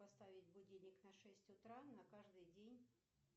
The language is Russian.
поставить будильник на шесть утра на каждый день